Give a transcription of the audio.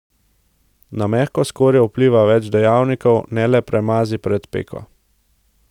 Na mehko skorjo vpliva več dejavnikov, ne le premazi pred peko.